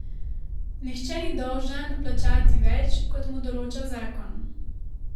Nihče ni dolžan plačati več, kot mu določa zakon.